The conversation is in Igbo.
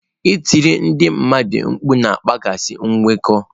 Ịtiri ndị mmadụ mkpu na-akpaghasị nkwekọ.